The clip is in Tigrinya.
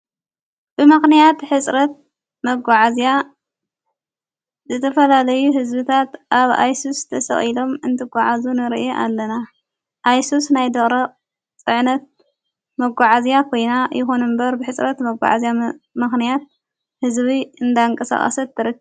ብመኽንያት ሕጽረት መጐዓዝያ ዘተፈላለዩ ሕዝብታት ኣብ ኣይሱዝ ተሰቕኢሎም እንትጐዓእዙ ንርእየ ኣለና ኣይሱዝ ናይ ደረቕ ጽዕነት መጕዓዝያ ኾይና ይኩኑ እምበር ብሕጽረት መጕዓእዝያ መኽንያት ሕዝቢ እንዳንቀሳቓሰት ትርከብ።